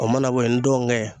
O mana bo ye ntɔnkɛ